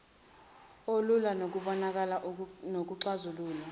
olulula ukubonakala nokuxazululwa